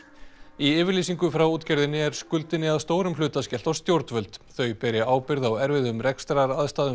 í yfirlýsingu frá útgerðinni er skuldinni að stórum hluta skellt á stjórnvöld þau beri ábyrgð á erfiðum